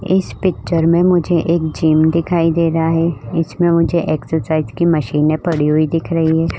इस पिक्चर में मुझे एक जिम दिखाई दे रहा है। इसमें मुझे एक्सासाइज की मशीने पड़ी हुई दिख रही है।